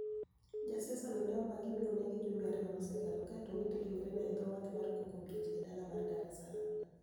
Jasiasa no ni e omaki mi oni ege jumbe ariyo mosekalo, kae to owit rinigreni e e dho wath mar coco beach, e dala mar Dar es salaam.